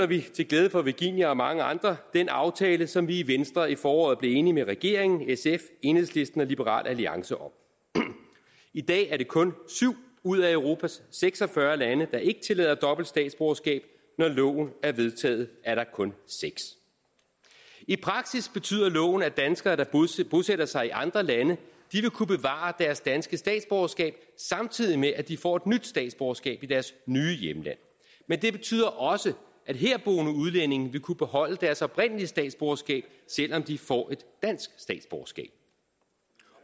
vi til glæde for virginia og mange andre den aftale som vi i venstre i foråret blev enige med regeringen sf enhedslisten og liberal alliance om i dag er det kun syv ud af europas seks og fyrre lande der ikke tillader dobbelt statsborgerskab når loven er vedtaget er det kun seks i praksis betyder loven at danskere der bosætter sig i andre lande vil kunne bevare deres danske statsborgerskab samtidig med at de får et nyt statsborgerskab i deres nye hjemland men det betyder også at herboende udlændinge vil kunne beholde deres oprindelige statsborgerskab selv om de får et dansk statsborgerskab